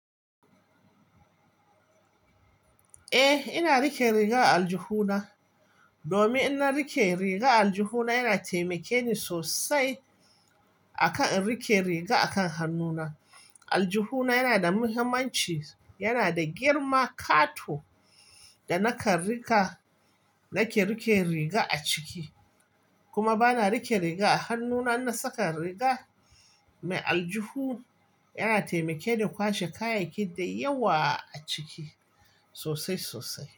Eh, ina rike riga a aljihu na. Domin in na riƙe riga a aljihuna yana taimake ni sosai. Akan in riƙe riga akan hannu na. Aljihuna yana da muhimmanci, yana da girma ƙato da nakan riƙa, nake riƙe riga a ciki. Kuma bana riƙe riga a hannu na. Ina saka riga mai aljihu. Yana taimakeni kwashe kayayyaki da yawa a ciki sosai-sosai.